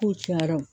K'u cayara wo